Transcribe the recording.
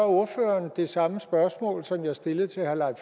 ordføreren det samme spørgsmål som jeg stillede til herre